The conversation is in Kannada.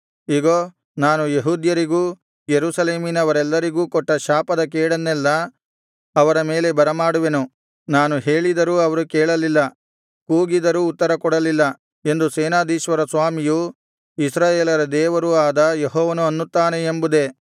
ಇಗೋ ನಾನು ಯೆಹೂದ್ಯರಿಗೂ ಯೆರೂಸಲೇಮಿನವರೆಲ್ಲರಿಗೂ ಕೊಟ್ಟ ಶಾಪದ ಕೇಡನ್ನೆಲ್ಲಾ ಅವರ ಮೇಲೆ ಬರಮಾಡುವೆನು ನಾನು ಹೇಳಿದರೂ ಅವರು ಕೇಳಲಿಲ್ಲ ಕೂಗಿದರೂ ಉತ್ತರಕೊಡಲಿಲ್ಲ ಎಂದು ಸೇನಾಧೀಶ್ವರ ಸ್ವಾಮಿಯೂ ಇಸ್ರಾಯೇಲರ ದೇವರೂ ಆದ ಯೆಹೋವನು ಅನ್ನುತ್ತಾನೆ ಎಂಬುದೇ